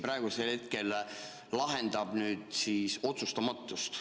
Praegusel hetkel see lahendab otsustamatust.